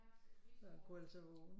Så han kunne altså vågne